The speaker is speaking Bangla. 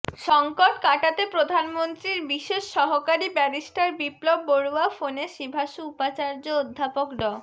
সংকট কাটাতে প্রধানমন্ত্রীর বিশেষ সহকারী ব্যারিস্টার বিপ্লব বড়ুয়া ফোনে সিভাসু উপাচার্য অধ্যাপক ড